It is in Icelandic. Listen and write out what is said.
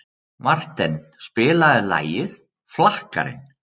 Marten, spilaðu lagið „Flakkarinn“.